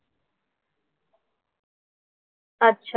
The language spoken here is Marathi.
अच्छा